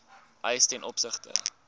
eis ten opsigte